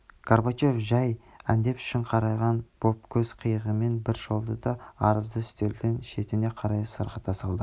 горбачев жәй әдеп үшін қараған боп көз қиығымен бір шолды да арызды үстелдің шетіне қарай сырғыта салды